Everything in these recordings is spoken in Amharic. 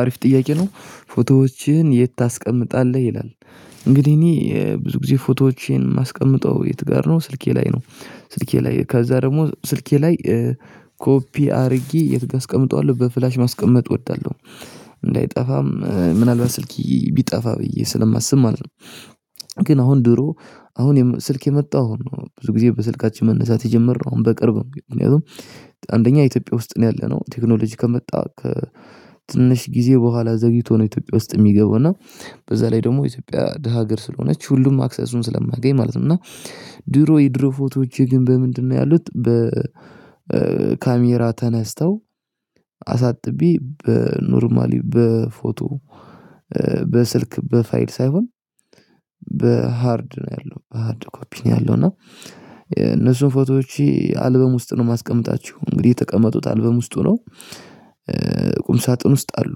አሪፍ ጥያቄ ነው ፎቶዎችህን የት ታስቀምጣለህ ይላል? እንግዲህ እኔ ብዙ ጊዜ ፎቶዎችን የማስቀምጠው የት ጋር ነው ስልኬ ላይ ነው። ስልኬ ላይ ከዛ ደግሞ ስልኬ ላይ ኮፒ አድርጌ አስቀምጠዋለሁ በፍላሽ ማስቀመጥ እወዳለሁ። እንዳይጠፋም ምናልባት ስልኪ ቢጠፋ ብዬ ስለማስብ ማለት ነው። ግን አሁን ድሮ አሁን ስልክ የመጣው ብዙ ጊዜ በስልካችን መነሳት የጀመርነው አሁን በቅርብ ምክንያቱም አንደኛ ኢትዮጵያ ውስጥ ነው ያለነው ቴክኖሎጂ ከመጣ ትንሽ ጊዜ በኋላ ዘግይቶ ነው ኢትዮጵያ ውስጥ የሚገባው እና በዛ ላይ ደግሞ ኢትዮጵያ ድሃ ሀገር ስለሆነች ሁሉም አክሰሱን ስለማያገኝ ማለት ነው። እና ድሮ የድሮ ፎቶዎቼ ግን በምንድነው ያሉት በ ካሜራ ተነስተው አሳጥቤ በኖርማሊ በፎቶ በስልክ በፋይል ሳይሆን በሃርድ ነው ያለው በሃርድ ኮፒ ነው ያለው እና እነሱን ፎቶዎች አልበም ውስጥ ነው የማስቀምጣችሁ እንግዲህ የተቀመጡት አልበም ውስጥ ነው። ቁም ሳጥን ውስጥ አሉ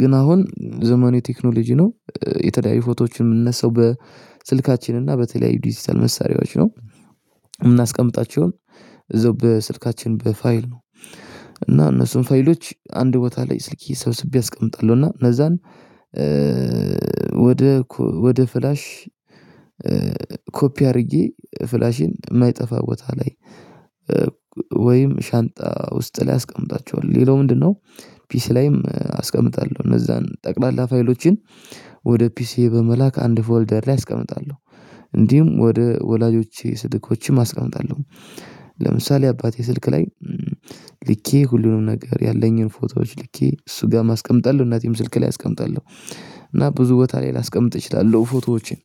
ግን አሁን ዘመኑ የቴክኖሎጂ ነው የተለያዩ ፎቶዎችን የምንነሳው በስልካችን እና በተለያዩ ዲጂታል መሳሪያዎች ነው። የምናስቀምጣቸውን እዛው በስልካችን በፋይል ነው። እና እነሱን ፋይሎች አንድ ቦታ ላይ ስልክ ሰብስቤ አስቀምጣለሁ እና እነዛን ወደ ፍላሽ ኮፒ አድርጌ ፍላሽን የማይጠፋ ቦታ ላይ ወይም ሻንጣ ውስጥ ላይ አስቀምጣቸዋለሁ። ሌላው ምንድነው ፒሲ ላይም አስቀምጣለሁ እነዛን ጠቅላላ ፋይሎችን ወደ ፒሲ በመላክ አንድ ፎልደር ላይ አስቀምጣለሁ። እንዲሁም ወደ ወላጆቼ ስልኮችም አስቀምጣለሁ ለምሳሌ አባቴ ስልክ ልኬ ሁሉንም ነገር ያለኝን ፎቶዎች ልኬ እሱ ጋም አስቀመጣለሁ እናቴም ስልክ ላይ አስቀምጣለሁ። እና ብዙ ቦታ ላይ ላስቀምጥ እችላለሁ ፎቶዎችን